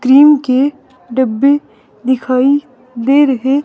cream के डब्बे दिखाई दे रहे--